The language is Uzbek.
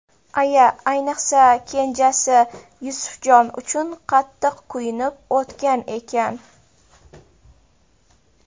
Aya ayniqsa kenjasi Yusufjon uchun qattiq kuyunib o‘tgan ekan.